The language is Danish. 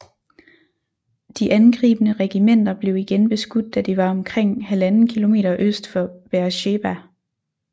De angribende regimenter blev igen beskudt da de var omkring 1½ km øst for Beersheba